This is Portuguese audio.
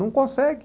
Não consegue.